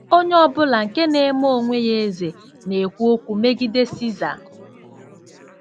Onye ọ bụla nke na-eme onwe ya eze na-ekwu okwu megide Siza. ’”